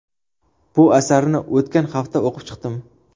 Bu asarni o‘tgan hafta o‘qib chiqdim.